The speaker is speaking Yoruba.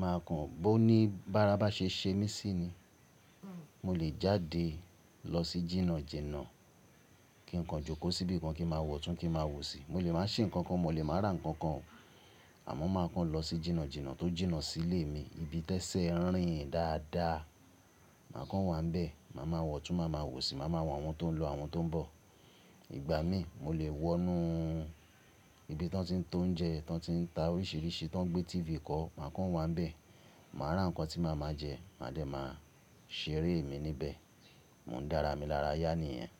màá kàn ọ́ ní bara ba ṣe ṣe mí sí ni. Mo lè jáde lọ sí jìnà jìnà kí n kan jókòó síbí kan kí n ma wọ̀tún kí n ma wòṣì. Mo lè má ṣe nnkankan mọ lè má ra nnkankan. Àmọ́ màá kàn lọ sí jìnà jìnà tó jìnà sílé mi ibi tẹ́sẹ̀ n rìn dáadáa. Màá kàn wà íbẹ̀, màá ma wọ̀tún màá ma wòṣì, màá ma wo àwọn tó ń lọ àwọn tó ń bọ̀. Ìgbà mí mo lè wọnú ibi tí tan ti ń ta ounjẹ yen, tan ti ń ta oríṣìíríṣìí, tan gbé TV kọ́. Màá kàn wà n bẹ̀, màá ra n kan tí màá máa jẹ, màá dẹ̀ máa ṣeré mi níbẹ̀. Mò ń dára mi lára yá nìyẹn.